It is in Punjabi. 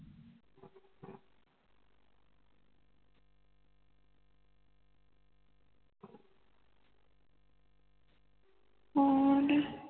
ਹੋਰ ਜੀ